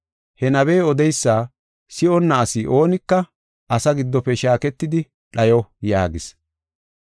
He nabey odeysa si7onna asi oonika asaa giddofe shaaketidi dhayo’ yaagis.